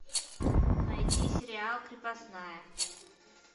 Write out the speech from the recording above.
найти сериал крепостная